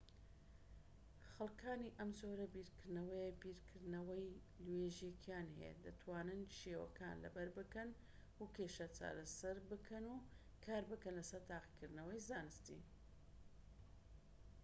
خەلکانی ئەم جۆرە بیرکردنەوەیە بیرکردنەوەی لۆژیکیان هەیە و دەتوانن شێوەکان لەبەر بکەن و کێشە چارەسەر بکەن و کاربکەن لەسەر تاقیکردنەوەی زانستی